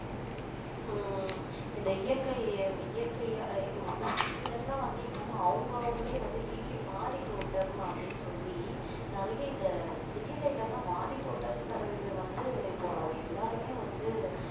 உம் இந்த இயற்கை இயற்கை ஒரு சிலர்லாம் வந்து இப்போ அவங்க அவங்களே வந்து வீ~ மாடி தோட்டம் அப்படின்னு சொல்லி நிறைய இந்த city side ல எல்லாம் மாடி தோட்டன்றது வந்து இப்போ எல்லாருமே வந்து